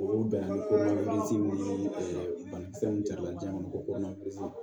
O bɛn na ni ko min ye banakisɛ mun cari la jiɲɛ kɔnɔ ko